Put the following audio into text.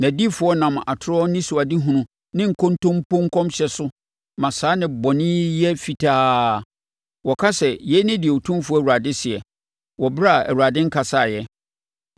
Nʼadiyifoɔ nam atorɔ anisoadehunu ne nkontompo nkɔmhyɛ so ma saa nnebɔne yi yɛ fitaa. Wɔka sɛ, ‘Yei ne deɛ Otumfoɔ Awurade seɛ,’ wɔ ɛberɛ a Awurade nkasaeɛ.